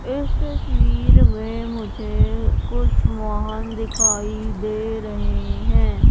इस तस्वीर में मुझे कुछ वाहन दिखाई दे रहें हैं।